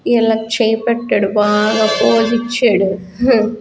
ఇలా చెయ్ పెట్టాడు బాగా పోజ్ ఇచాడు హ.